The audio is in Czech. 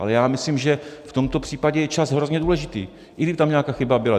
Ale já myslím, že v tomto případě je čas hrozně důležitý, i kdyby tam nějaká chyba byla.